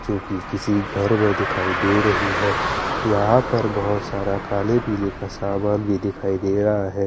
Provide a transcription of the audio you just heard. जो कि किसी घर में दिखाई दे रही है यहां पर बहुत सारा काले पीले का सामान भी दिखाई दे रहा है।